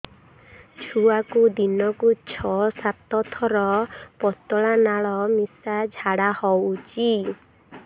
ଛୁଆକୁ ଦିନକୁ ଛଅ ସାତ ଥର ପତଳା ନାଳ ମିଶା ଝାଡ଼ା ହଉଚି